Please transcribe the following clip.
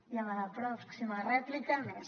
i a la pròxima rèplica més